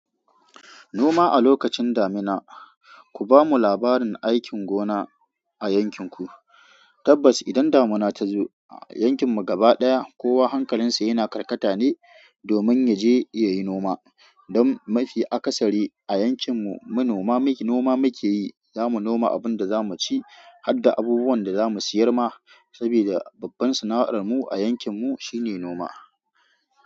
Noma a lokacin damina, ku bamu labarin aikin gona a yankin ku. Tabbas idan damina ta zo a yankin mu gaba daya, kowa hankalin sa yana karkata ne domin ya je yayi noma. Don mafi akasari a yankin mu manoma noma muke yi. Za mu noma abun da za mu ci har da abubuwan da za mu siyar ma, sabida babban sana'ar mu a yankin mu shine noma.